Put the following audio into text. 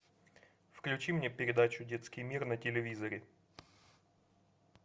включи мне передачу детский мир на телевизоре